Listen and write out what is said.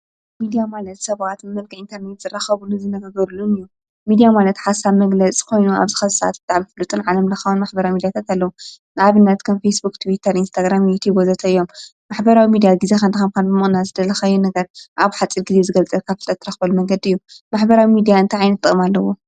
ሚድያ ማለት ሰባት ብመልክዕ ኢንተርኔት ዝራከብሉ ዝነጋገርሉ እዩ፡፡ ሚድያ ማለት ሓሰብ መግለፂ ዝኮኑ ኣብዚ ሕዚ ሰዓት ብጣዕሚ ፍሉጥን ዓለም ለኻዊ መራኸቢ ኣለዉ፡፡ ንኣብነት ከም ፌስ ቡክ ፣ቲዉተር፣ ቴሌግራም ወዘተ እዮም፡፡ ማሕበራዊ ሚድያ ግዜካ ንምቅናስ ዝደለካዮ ነገር ኣብ ሓፅር ግዜ ዝገልፀልካ ዝክእል መንገዲ እዩ፡፡ ማሕበራዊ ሚድያ እንታይ ዓይንት ጥቅሚ ኣለዎ?